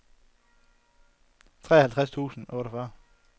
treoghalvtreds tusind og otteogfyrre